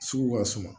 Sugu ka suma